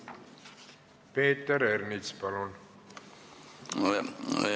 Peeter Ernits, palun!